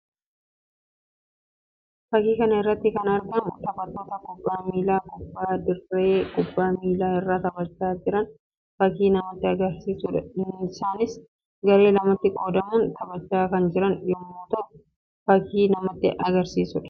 Fakkii kana irratti kan argamu taphattoota kubbaa miillaa kubbaa dirree kubbaa miillaa irra taphachaa jiran fakkii namatti agarsiisuu dha. Isaannis garee lamatti qoodamuun taphachaa kan jiran yammuu ta'u fakkii namatti agarsiisuu dha.